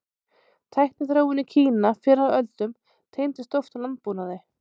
Tækniþróun í Kína fyrr á öldum tengdist oft landbúnaði.